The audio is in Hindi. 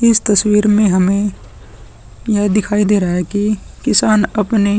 इस तस्वीर में हमें यह दिखाई दे रहा है कि किसान अपने --